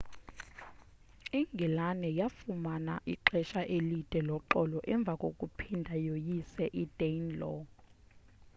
ingilane yafumana ixesha elide loxolo emva kokuphinda yoyise i-danelaw